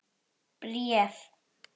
Bréf?